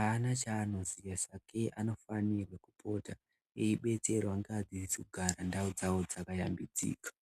aana chaanoziya sakei anofanirwe kupota eibetserwa ngeadzidzsi kugara ndau dzawo dzakayambidzika.